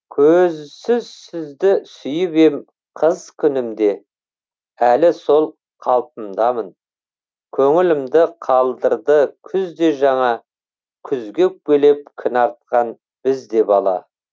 көзсіз сізді сүйіп ем қыз күнімде әлі сол қалпымдамын көңілімді қалдырды күз де жаңа күзге өкпелеп кінә артқан біз де бала